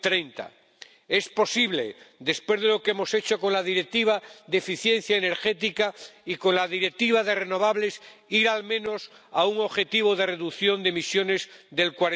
2030. Es posible —después de lo que hemos hecho con la Directiva de eficiencia energética y con la Directiva sobre las energías renovables— ir al menos a un objetivo de reducción de emisiones del